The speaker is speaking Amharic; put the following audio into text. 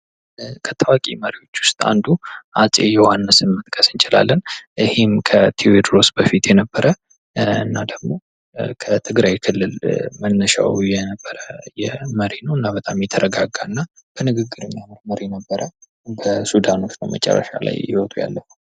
ከታዋቂ መሪዎች ዉስጥ አንዱ አፄ ዮሐንስ መጥቀስ እንችላለን። ይሄም ከቴዎድሮስ በፊት የነበረ እና ደግሞ ከትግራይ ክልል መነሻዉ የነበረ በጣም የተረጋጋ በንግግር የሚያምን መሪ ነበረ። በመጨረሻ በሱዳኖች ነዉ ህይወቱ ያለፈዉ።